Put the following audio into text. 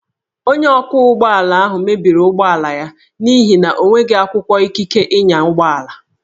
Onye ọkwọ ụgbọala ahụ mebiri ụgbọala ya n'ihi na o nweghị akwụkwọ ikike ịnya ụgbọala